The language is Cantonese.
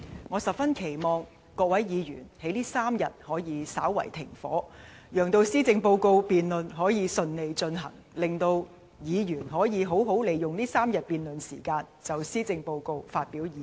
我十分期望各位議員在這3天可以稍為"停火"，讓施政報告辯論可以順利進行，令議員可以好好利用這3天辯論時間，就施政報告發表意見。